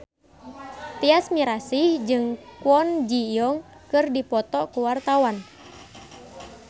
Tyas Mirasih jeung Kwon Ji Yong keur dipoto ku wartawan